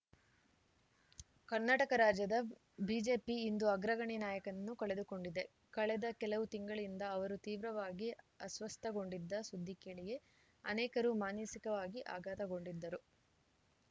ಕರ್ನಾಟಕ ರಾಜ್ಯದ ಬಿಜೆಪಿ ಇಂದು ಅಗ್ರಗಣ್ಯ ನಾಯಕನನ್ನು ಕಳೆದುಕೊಂಡಿದೆ ಕಳೆದ ಕೆಲವು ತಿಂಗಳಿಂದ ಅವರು ತೀವ್ರವಾಗಿ ಅಸ್ವಸ್ಥಗೊಂಡಿದ್ದ ಸುದ್ದಿ ಕೇಳಿಯೇ ಅನೇಕರು ಮಾನಸಿಕವಾಗಿ ಆಘಾತಗೊಂಡಿದ್ದರು